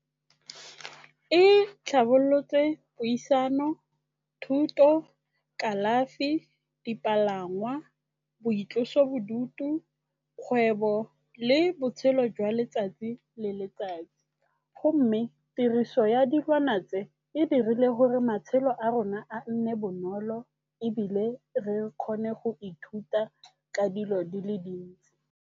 E tlhabolotse puisano, thuto, kalafi, dipalangwa, boitlosobodutu, kgwebo le botshelo jwa letsatsi le letsatsi. Gomme tiriso ya dilwana tse, e dirile gore matshelo a rona a nne bonolo ebile re kgone go ithuta ka dilo di le dintsi.